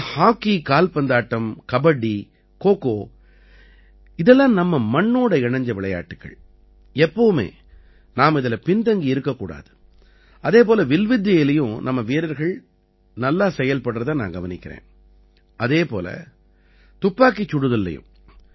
ஆனா ஹாக்கி கால்பந்தாட்டம் கபடி கோகோ இதெல்லாம் நம்ம மண்ணோட இணைஞ்ச விளையாட்டுக்கள் எப்பவுமே நாம இதில பின்தங்கி இருக்கக் கூடாது அதே போல வில்வித்தையிலயும் நம்ம வீரர்கள் நல்லா செயல்படுறதை நான் கவனிக்கறேன் அதே போல துப்பாக்கிச் சுடுதல்லயும்